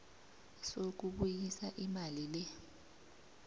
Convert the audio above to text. sokubuyisa imali le